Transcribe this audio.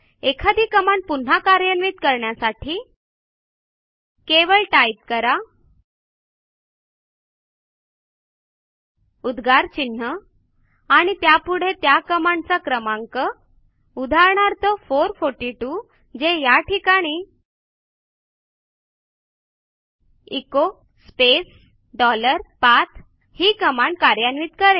एखादी कमांड पुन्हा कार्यान्वित करण्यासाठी केवळ टाईप करा उद्गार चिन्ह आणि त्यापुढे त्या कमांडचा क्रमांक उदाहरणार्थ 442 जे या ठिकाणी एचो स्पेस डॉलर पाठ ही कमांड कार्यान्वित करेल